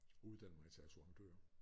Uddannede mig til assurandør